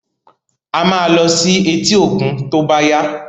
A máa lọ sí etí òkun tó bá yá.